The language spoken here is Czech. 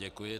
Děkuji.